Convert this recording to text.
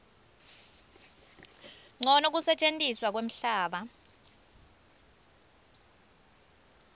ncono kusetjentiswa kwemhlaba